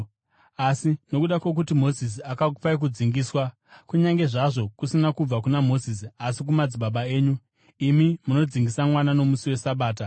Asi nokuda kwokuti Mozisi akakupai kudzingiswa (kunyange zvazvo kusina kubva kuna Mozisi, asi kumadzibaba enyu), imi munodzingisa mwana nomusi weSabata.